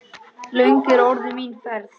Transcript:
Löng er orðin mín ferð.